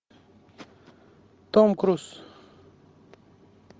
том круз